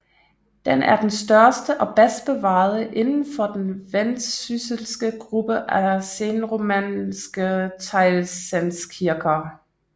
Den er den største og bedst bevarede inden for den vendsysselske gruppe af senromanske teglstenskirker